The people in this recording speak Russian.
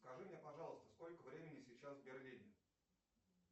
скажи мне пожалуйста сколько времени сейчас в берлине